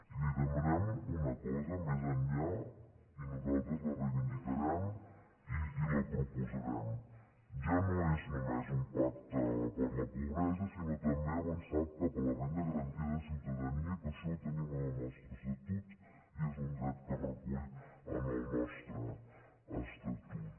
i li demanem una cosa més enllà i nosaltres la reivindicarem i la proposarem ja no és només un pacte contra la pobresa sinó també avançar cap a la renda garantida de ciutadania que això ho tenim en el nostre estatut i és un dret que es recull en el nostre estatut